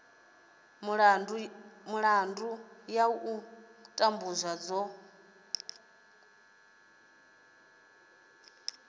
milandu ya u tambudzwa dzo